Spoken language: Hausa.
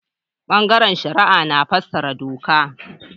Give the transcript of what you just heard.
Bangaren shari'a na fassara doka.